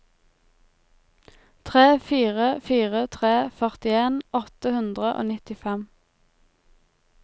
tre fire fire tre førtien åtte hundre og nittifem